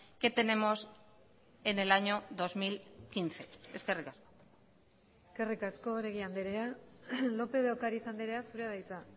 que tenemos en el año dos mil quince eskerrik asko eskerrik asko oregi andrea lópez de ocariz andrea zurea da hitza